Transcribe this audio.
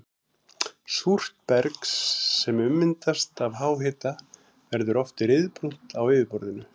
Súrt berg sem ummyndast af háhita verður oft ryðbrúnt á yfirborði.